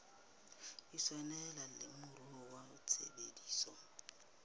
tshwaneleha le moruo wa tshebetso